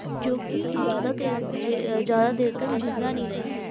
ਜੋ ਕਿ ਜ਼ਿਆਦਾ ਦੇਰ ਜੇ ਜ਼ਿਆਦਾ ਦੇਰ ਤੱਕ ਜ਼ਿੰਦਾ ਨੀ ਰਹੀ ਸੀ